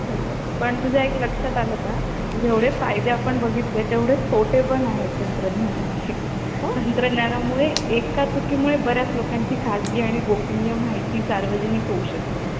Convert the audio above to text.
खरय पण तुझ्या एक लक्षात आलं का जेवढे फायदे आपण बघितले तेवढे तोटे पण आहेत तंत्रज्ञानाची तंत्रज्ञानामुळे एका चुकीमुळे बऱ्याच लोकांची खाजगी आणि गोपनीय माहिती सार्वजनिक होऊ शकते